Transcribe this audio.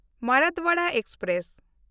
Marathwada express